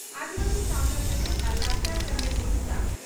ᱟᱹᱫᱤᱵᱟᱹᱥᱤ ᱥᱟᱣᱛᱟ ᱥᱮᱪᱮᱫ ᱟᱨ ᱞᱟᱠᱪᱟᱨ ᱥᱮᱢᱞᱮᱫ (ᱳᱰᱤᱥᱟ)